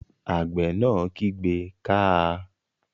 Àgbẹ̀ náà kígbe "káa!"